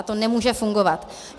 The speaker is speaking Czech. A to nemůže fungovat.